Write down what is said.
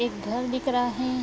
एक घर दिख रहा है।